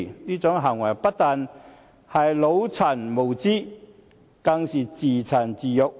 這種行為不但是"腦殘"無知，更是自賤自辱。